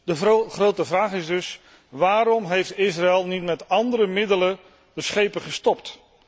De grote vraag is dus waarom heeft Israël niet met andere middelen de schepen gestopt?